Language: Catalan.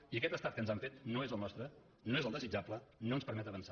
i aquest estat que ens han fet no és el nostre no és el desitjable no ens permet avançar